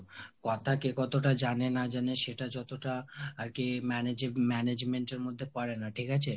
কথা কে কতটা জানে না জানে সেটা যতটা আরকি managing~ management এর মধ্যে পড়েনা ঠিক আছে